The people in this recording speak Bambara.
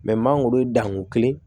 mangoro ye danko kelen